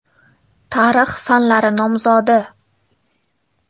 Tarix fanlari nomzodi.